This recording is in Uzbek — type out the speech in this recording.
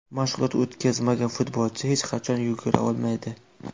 Mashg‘ulot o‘tkazmagan futbolchi hech qachon yugura olmaydi.